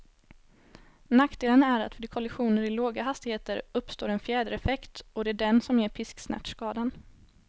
Nackdelen är att vid kollisioner i låga hastigheter uppstår en fjädereffekt, och det är den som ger pisksnärtskadan.